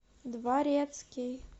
дворецкий